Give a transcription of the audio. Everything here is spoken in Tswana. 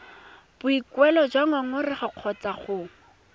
boikuelo jwa ngongorego kgotsa go